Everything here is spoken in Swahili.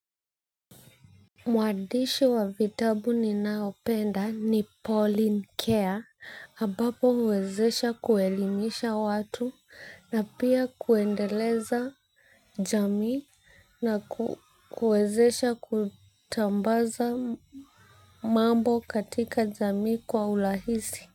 Mwandishi wa vitabu ninaopenda ni Pauline Keya ambapo huwezesha kuelimisha watu na pia kuendeleza jamii na kuwezesha kutambaza mambo katika jamii kwa urahisi.